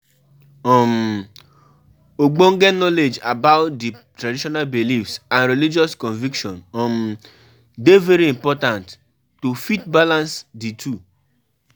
Ogbonge Knowledge about di traditional belief and religious conviction dey very important to fit balance di two